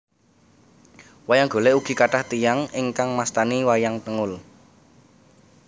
Wayang Golèk ugi kathah tiyang ingkang mastani wayang tengul